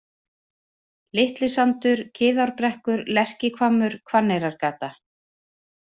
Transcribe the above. Litli-Sandur, Kiðárbrekkur, Lerkihvammur, Hvanneyrargata